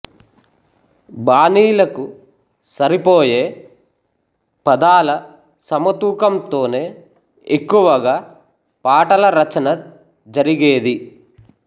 బాణీలకు సరిపోయే పదాల సమతూకంతోనే ఎక్కువగా పాటల రచన జరిగేది